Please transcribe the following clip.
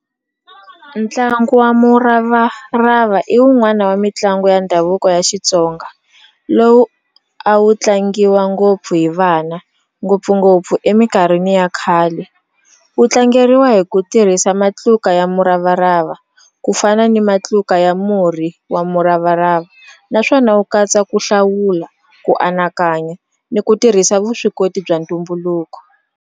Ntlangu wa muravarava i wun'wani wa mitlangu ya ndhavuko ya Xitsonga lowu a wu tlangiwa ngopfu hi vana ngopfungopfu eminkarhini ya khale wu tlangeriwa hi ku tirhisa matluka ya muravarava ku fana ni matluka ya murhi wa muravarava naswona wu katsa ku hlawula ku anakanya ni ku tirhisa vuswikoti bya ntumbuluko.